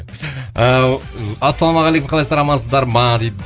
ыыы ассалаумағалейкум қалайсыздар амансыздар ма дейді